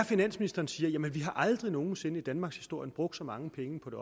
finansministeren siger at vi aldrig nogen sinde i danmarkshistorien har brugt så mange penge på det